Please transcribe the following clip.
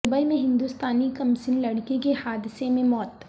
Dubai میں ہندوستانی کمسن لڑکی کی حادثہ میں موت